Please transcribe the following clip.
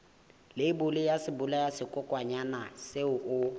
leibole ya sebolayakokwanyana seo o